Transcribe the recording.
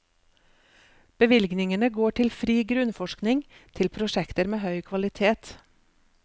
Bevilgningene går til fri grunnforskning, til prosjekter med høy kvalitet.